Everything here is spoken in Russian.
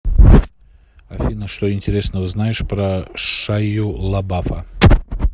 афина что интересного знаешь про шайю лабафа